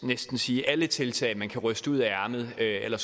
næsten sige at alle tiltag man kan ryste ud af ærmet eller